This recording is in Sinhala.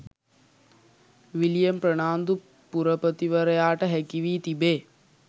විලියම් ප්‍රනාන්දු පුරපතිවරයාට හැකි වී තිබේ.